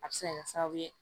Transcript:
A bɛ se ka kɛ sababu ye